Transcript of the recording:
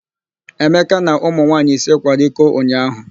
Emeka na ụmụ nwaanyị ise kwara iko ụnyaahụ.